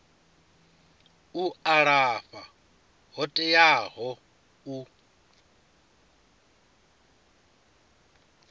u alafha yo teaho u